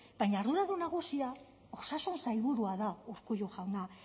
baina arduradun nagusia osasun sailburua da urkullu jauna